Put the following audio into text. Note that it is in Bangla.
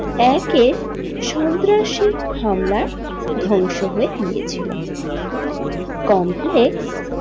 একে সন্ত্রাসী হামলায় ধ্বংস হয়ে গিয়েছিলো কমপ্লেক্স।